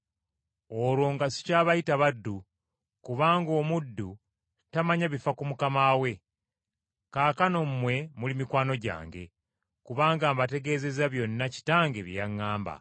Olwo nga sikyabayita baddu, kubanga omuddu tamanya bifa ku mukama we. Kaakano mmwe muli mikwano gyange, kubanga mbategeezezza byonna Kitange bye yaŋŋamba.